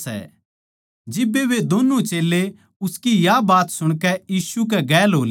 जिब्बे वे दोन्नु चेल्लें उसकी या बात सुणकै यीशु कै गेल हो लिए